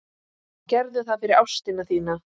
Gerðu það fyrir ástina þína.